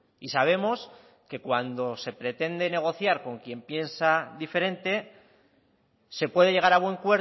y sabemos que cuando se pretende negociar con quien piensa diferente se puede llegar a buen